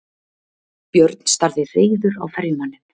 Björn starði reiður á ferjumanninn.